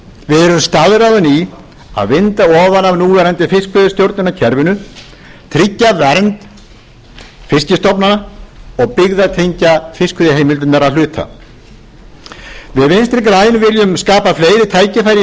við erum staðráðin í að vinda ofan af núverandi fiskveiðistjórnarkerfi tryggja vernd fiskstofnanna og byggðatengja fiskveiðiheimildirnar að hluta við vinstri græn viljum skapa fleiri tækifæri í